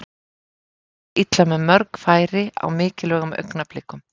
Liðið fór illa með mörg frábær færi á mikilvægum augnablikum.